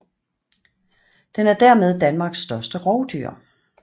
Den er dermed Danmarks største rovdyr